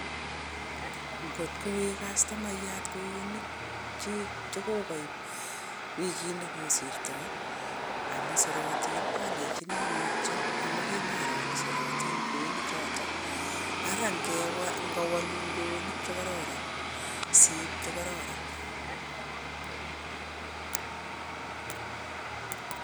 Ngot kowek kastomaiyat kweyonik cho kokaib wikit nekosirtoi amun sorotin alenchini mutyo amun kimaroo ale sorotin kweyonik chotok, ara ngawalun kweyonik che koraran siip che koraran.